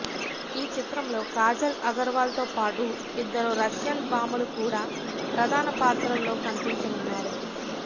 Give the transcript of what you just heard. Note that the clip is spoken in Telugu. ఈ చిత్రంలో కాజల్ అగర్వాల్ తో పాటు ఇద్దరు రష్యన్ భామలు కూడా ప్రధాన పాత్రల్లో కనిపించనున్నారు